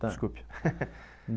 Desculpe.